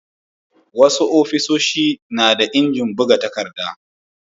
Wasu ofis na da injin buga